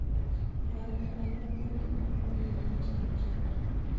Iyokten baruet en Kipkurui akilenchi kochokyi